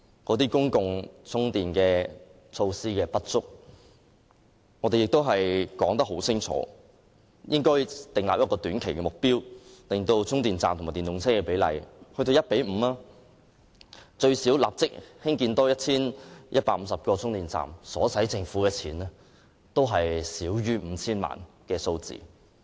鑒於公共充電設施不足，我們已清楚說明，應訂立短期目標，令充電站和電動車的比例增至 1：5， 故此應立即多興建最少 1,150 個充電站，而這些充電站所需的公帑少於 5,000 萬元。